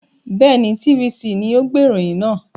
Bẹ́ẹ̀ni, TVC ni ó gbé ìròyìn náà.